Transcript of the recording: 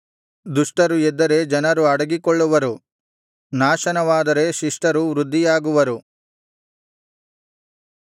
ದುಷ್ಟರು ಎದ್ದರೆ ಜನರು ಅಡಗಿಕೊಳ್ಳುವರು ನಾಶನವಾದರೆ ಶಿಷ್ಟರು ವೃದ್ಧಿಯಾಗುವರು